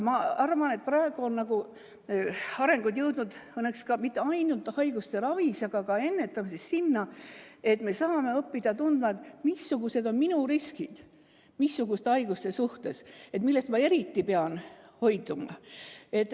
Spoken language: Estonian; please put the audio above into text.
Aga praegu on areng jõudnud õnneks mitte ainult haiguste ravis, vaid ka ennetamises sinna, et me saame õppida tundma, missugused on kellegi riskid haiguste suhtes, millest ta eriti peab hoiduma.